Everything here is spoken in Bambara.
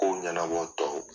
Kow ɲanabɔ tɔw